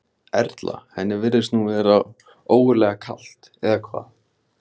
Erla: Henni virðist nú vera ógurlega kalt, eða hvað?